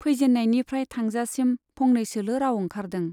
फैजेन्नायनिफ्राइ थांजासिम फंनैसोल' राउ ओंखारदों।